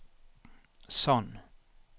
Sand